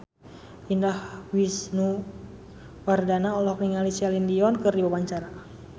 Indah Wisnuwardana olohok ningali Celine Dion keur diwawancara